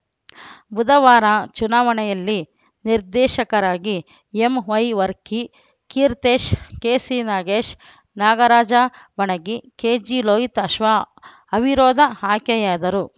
ಬುಧವಾರ ಚುನಾವಣೆಯಲ್ಲಿ ನಿರ್ದೇಶಕರಾಗಿ M Y Varkey Keertesh K C Nagesh Nagaraja Banagi K G Lohitashwa ಅವಿರೋಧ ಆಯ್ಕೆಯಾದರು